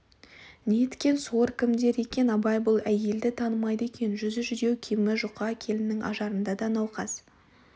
неткен сор кімдер екен абай бұл әйелді танымайды екен жүзі жүдеу киімі жұқа келіннің ажарында науқас